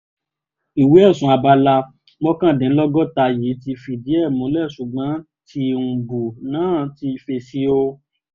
ìwé ẹ̀sùn alábala mọ́kàndínlọ́gọ́ta yìí ti fìdí ẹ̀ múlẹ̀ ṣùgbọ́n tìǹbù náà ti fèsì o